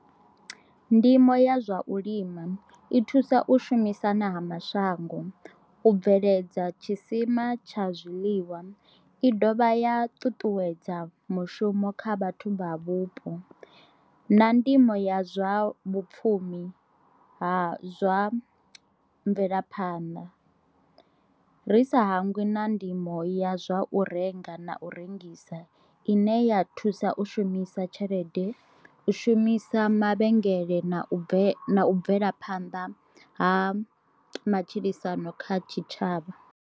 Ndimo ya zwa u lima i thusa u shumisana ha mashango, u bveledza tshisima tsha zwiḽiwa i dovha ya ṱuṱuwedza mushumo kha vhathu vha vhupo na ndimo ya zwa vhapfumi ha zwa mvelaphanḓa, ri sa hangwi na ndimo ya zwa u renga na u rengisa ine ya thusa u shumisa tshelede, u shumisa mavhengele na bve bvela phanḓa ha matshilisano kha tshitshavha.